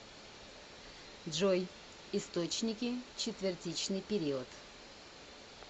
джой источники четвертичный период